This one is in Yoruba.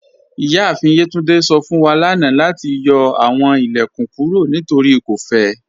Iyaafin Yetúndé sọ fun wa lánà lati yọ awọn ilẹ̀kún kúrò nítorí kò fẹ̀.